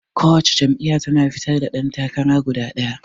Ko wace jam'iyya tana fitar da ɗan takara guda ɗaya.